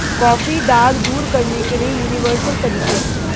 coffee दाग दूर करने के लिए यूनिवर्सल तरीके